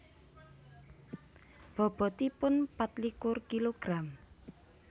Bobotipun patlikur kilogram